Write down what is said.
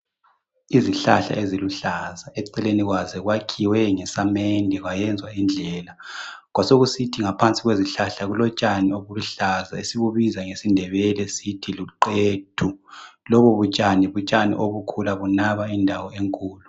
Izihlahla eziluhlaza eceleni kwazo kwakhiwe ngesamende kwayenzwa indlela Kwasokusithi ngaphansi kwezihlahla kulotshani obuluhlaza esibubiza ngesiNdebele sithi luqethu lobo butshani butshani obukhula bunaba indawo enkulu .